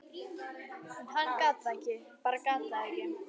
en hann gat það ekki, bara gat það ekki.